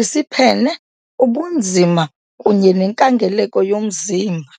isiphene, ubunzima kunye nenkangeleko yomzimba .